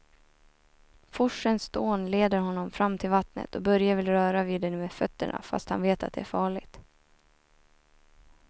Forsens dån leder honom fram till vattnet och Börje vill röra vid det med fötterna, fast han vet att det är farligt.